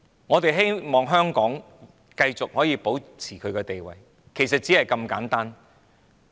我們希望香港繼續可以保持其地位，其實只是如此簡單。